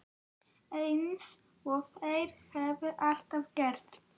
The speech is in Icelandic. Eins og þeir hafa alltaf gert.